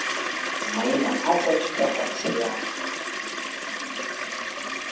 maina a tsa thutafatshe ya